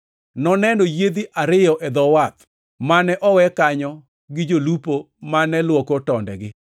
Noneno yiedhi ariyo e dho wath, mane owe kanyo gi jolupo mane luoko tondegi.